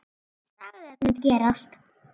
Sagði að þetta mundi gerast.